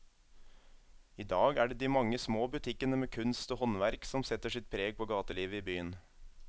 I dag er det de mange små butikkene med kunst og håndverk som setter sitt preg på gatelivet i byen.